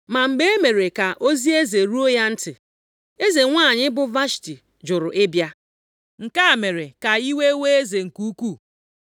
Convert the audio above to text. Ma mgbe e mere ka ozi eze ruo ya ntị, eze nwanyị, bụ Vashti jụrụ ịbịa. Nke a mere ka iwe wee eze nke ukwuu.